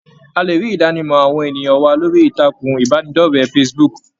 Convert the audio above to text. A lè rí Idanimọ àwọn ènìyàn wa lórí ìtàkùn ìbánidọ̀rẹ̀ Facebook.